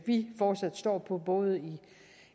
vi fortsat står for både